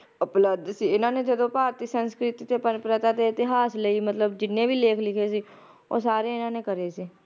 ਉਪਲਬਧ ਸੀ ਇਹਨਾਂ ਨੇ ਜਦੋ ਮਤਲਬ ਭਾਰਤੀ ਸੰਸਕ੍ਰਿਤੀ ਤੇ ਪੰਜ ਪ੍ਰਥਾ ਦੇ ਇਤਿਹਾਸ ਲਈ ਮਤਲਬ ਜਿੰਨੇ ਵੀ ਲੇਖ ਲਿਖੇ ਸੀ ਉਹ ਸਾਰੇ ਇਨਾਂ ਨੇ ਕਰੇ ਸੀ